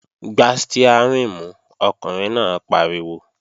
Gbá stiárìn mú, ọkùnrin náà pariwo!